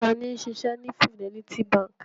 Ta ni ó ń ṣiṣẹ́ ní Fidelity Bank?